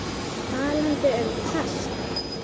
Talandi um kast.